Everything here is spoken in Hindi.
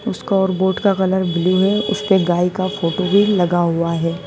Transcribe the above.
स्कोर बोर्ड का कलर ब्लू है उसपे गाय का फोटो भी लगा हुआ है।